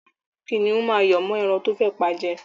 Kìnnìún náà yọ́ mọ́ ẹran tó fẹ́ pa jẹ.